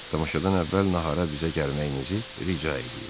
Tamaşadan əvvəl nahara bizə gəlməyinizi rica eləyir.